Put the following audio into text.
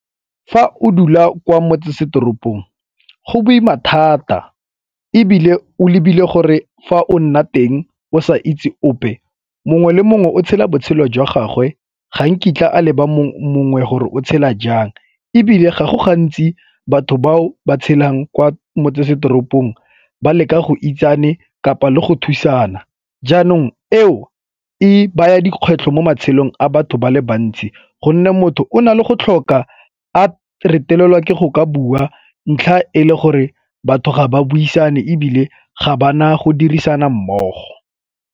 Fa o dula kwa motsesetoropong go boima thata ebile o ebile gore fa o nna teng o sa itse ope mongwe le mongwe o tshela botshelo jwa gagwe ga nkitla a leba mongwe gore o tshela jang ebile ga go gantsi batho bao ba tshelang kwa motsesetoropong ba leka go itsane kapa le go thusana. Jaanong eo e baya dikgwetlho mo matshelong a batho ba le bantsi gonne motho o na le go tlhoka a retelelwa ke go ka bua ntlha e le gore batho ga ba buisane ebile ga ba na go dirisana mmogo.